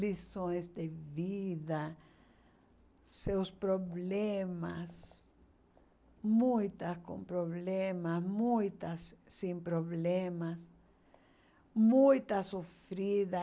lições de vida, seus problemas, muitas com problemas, muitas sem problemas, muitas sofridas.